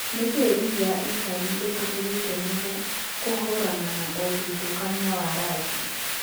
Nĩkĩĩ rigi ya Italy ĩtũmĩrĩte nũgũ kũhũrana na ũthutũkania wa rangi